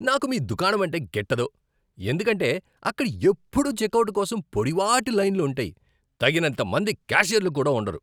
నాకు మీ దుకాణమంటే గిట్టదు ఎందుకంటే అక్కడ ఎప్పుడూ చెక్అవుట్ కోసం పొడవాటి లైన్లు ఉంటాయి, తగినంత మంది క్యాషియర్లు కూడా ఉండరు.